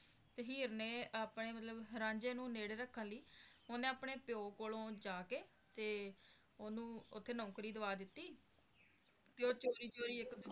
ਤੇ ਹੀਰ ਨੇ ਮਤਲਬ ਆਪਣੇ ਰਾਂਝੇ ਨੂੰ ਨੇੜੇ ਰੱਖਣ ਲਈ ਓਹਨੇ ਆਪਣੇ ਪੀ ਕੋਲੋਂ ਜਾ ਕੇ ਮਤਲਬ ਓਹਨੂੰ ਓਥੇ ਨੌਕਰੀ ਦਵਾ ਦਿੱਤੀ ਤੇ ਉਹ ਚੋਰੀ ਚੋਰੀ ਇੱਕ ਦੂਜੇ